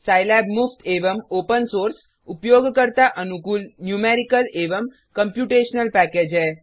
Scilab मुफ्त एवं open source उपयोगकर्ता अनुकूल न्यूमेरिकल एवं कम्प्यूटेशनल पैकेज है